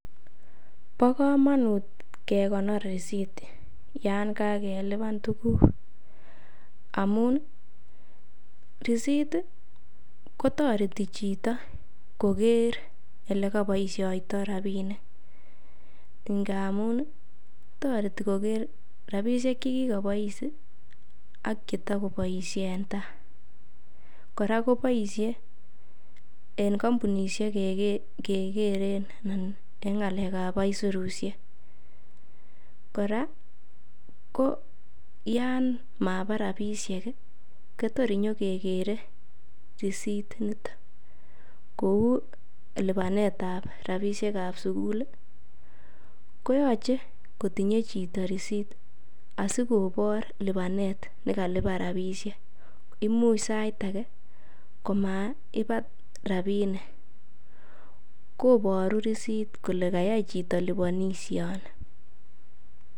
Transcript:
Bo komonut kekonor risit yon kagelipan tuguk, amun risit kotoreti chito koger ele koboisioito rabinik ngamun toreti koker rabishek che kigobois akche to koboisie en tai. Kora koboisie ne kompunisiek kegeren en ng'alekab aisurushek. Kora ko yan maba rabishek kotor inyo kegere risit initon. Kou lipanetab rabinik ab sugul koyoche kotie chito risit asikobor lipanet nekalipan rabishek. Imuch sait age komaiba rabinik. Koburu risit kole kayai chito liponishoni.